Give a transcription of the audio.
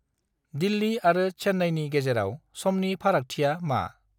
दिल्लि आरो चेन्नाइनि गेजेराव समनि फारागथिया मा?